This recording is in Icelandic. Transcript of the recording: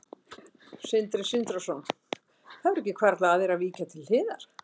Sindri Sindrason: Það hefur ekki hvarflað að þér að víkja til hliðar?